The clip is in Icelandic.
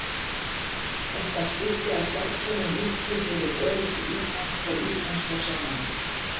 Þetta skipti að sjálfsögðu miklu fyrir öryggi Íslands og íslenskra sjómanna.